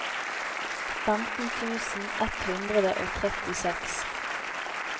femten tusen ett hundre og trettiseks